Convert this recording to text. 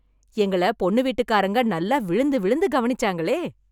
எங்கள பொண்ணு வீட்டுக்காரங்க, நல்லா விழுந்து விழுந்து கவனிச்சாங்களே...